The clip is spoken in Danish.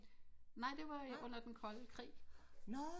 Nej det var under den kolde krig